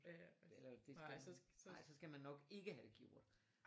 Eller det skal man nej så skal man nok ikke have det gjort